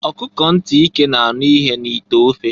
Ọkụkọ nti ike na-anụ ihe n'ite ofe.